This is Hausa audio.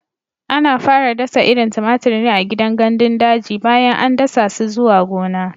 Ana fara dasa irin tumatir ne a gidan gandun daji bayan an dasa su zuwa gona.